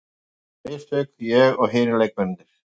Við gerðum mistök, ég og hinir leikmennirnir.